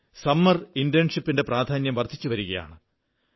summer ഇന്റേൺഷിപ്പിന്റെ പ്രാധാന്യം വർധിച്ചു വരുകയാണ്